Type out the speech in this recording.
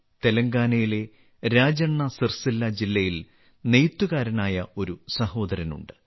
തെലങ്കാനയിലെ രാജണ്ണ സിർസില്ല ജില്ലയിൽ നെയ്ത്തുകാരനായ ഒരു സഹോദരനുണ്ട്